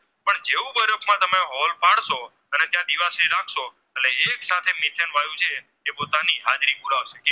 જે પોતાની હાજરી પૂરાવાસે